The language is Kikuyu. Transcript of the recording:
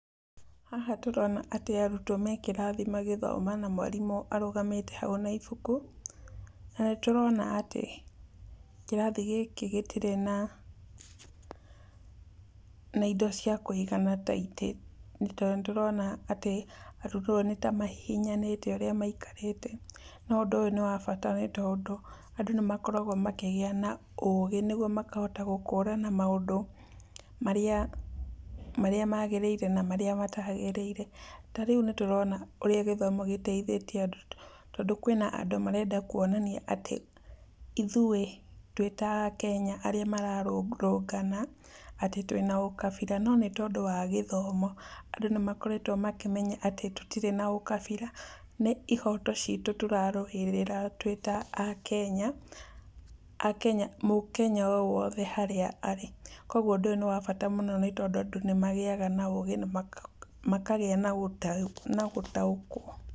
Haha tũrona atĩ arũtwo me kĩrathi magĩthoma na mũarimũ arũgamĩte haũ na ibũkũ, na nĩtũrona atĩ kĩrathi gĩkĩ gĩtirĩ na na indo cia kũigana ta itĩ nĩ to nĩtũrona atĩ arũtwo nĩtamahihinyanĩte ũrĩa maikarĩte. No ũndũ ũyũ nĩ wa bata nĩtondũ, adũ nĩmakoragwo makĩgĩa naũũgĩ nĩgũo makahota gũkũrana maũndũ, marĩa magĩrĩire na marĩa matagĩrĩire. Tarĩũ nĩtũrona ũrĩa gĩthomo gĩteithĩtie andũ tondũ kwĩna andũ marenda kũonania atĩ ithũĩ twĩta akenya arĩa mararũrũngana, atĩ twĩna ũkabira no nĩtondũ wa gĩthomo, andũ nĩmakoretwo makĩmenya atĩ tĩtirĩ na ũkabira, nĩ ihoto citũ tũrarũĩrĩra twĩta akenya, akenya, mukenya owothe harĩa arĩ. Kũogũo ũndũ ũyũ nĩ wa bata mũno nĩtondũ andũ nĩmagĩaga na ũgĩ na makagĩa na ũnda gũtaũkwo.